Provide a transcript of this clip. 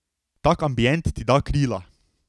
Tak ambient ti da krila!